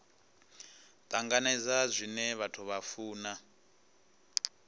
tanganedza zwine vhathu vha funa